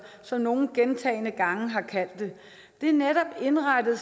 som nogle gentagne gange har kaldt det det er netop indrettet